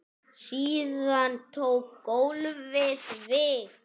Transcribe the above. Síðan tók golfið við.